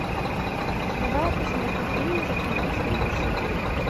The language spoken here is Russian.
давай я посмотрю фильм заклинатель лошадей